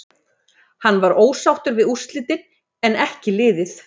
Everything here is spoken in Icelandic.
Hann var ósáttur við úrslitin en en ekki liðið.